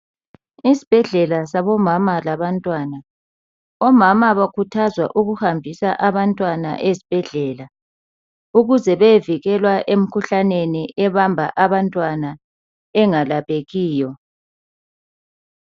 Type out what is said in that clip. Isibhedlela sabomama labantwana..Omama bakhuthazwa ukuhambisa abantwana ezibhedlela ukuze beyevikelwa emikhuhlaneni ebamba abantwana engalaphekiyo.